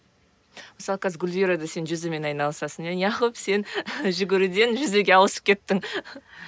мысалы қазір гүлвира да сен жүзумен айналысасың иә неғып сен жүгіруден жүзуге ауысып кеттің